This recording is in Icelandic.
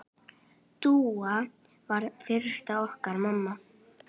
Dúa varð fyrst okkar mamma.